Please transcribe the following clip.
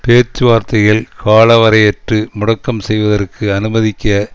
பேச்சு வார்த்தைகள் காலவரையற்று முடக்கம் செய்வதற்கு அனுமதிக்க